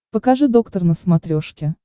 покажи доктор на смотрешке